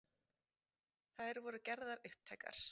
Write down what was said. Þær voru gerðar upptækar